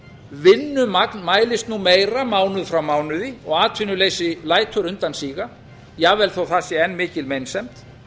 vinnumagn mælist nú meira mánuð frá mánuði og atvinnuleysi lætur undan síga jafnvel þó það sé enn mikil meinsemd